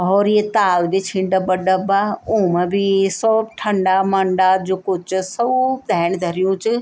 हौर ये ताल भी छिन डब्बा डब्बा ऊमा भी सोब ठंडा मंडा जो कुछ च सोब धैणी धर्युं च।